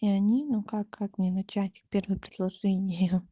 и они ну как как мне начать первое предложение